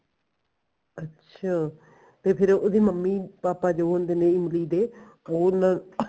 ਅੱਛਾ ਤੇ ਫੇਰ ਉਹਦੀ ਮੰਮੀ ਪਾਪਾ ਜੋ ਉਹਦੇ ਇਮਲੀ ਦੇ ਹੁਣ ing